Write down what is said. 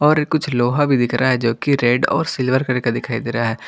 और ये कुछ लोहा भी दिख रहा है जो कि रेड और सिल्वर कलर का दिखाई दे रहा है।